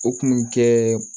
O kun bɛ kɛ